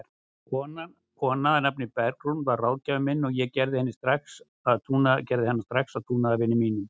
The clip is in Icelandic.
Kona að nafni Bergrún varð ráðgjafinn minn og ég gerði hana strax að trúnaðarvini mínum.